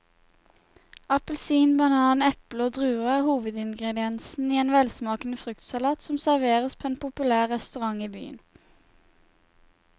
Appelsin, banan, eple og druer er hovedingredienser i en velsmakende fruktsalat som serveres på en populær restaurant i byen.